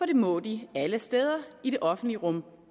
det må de alle steder i det offentlige rum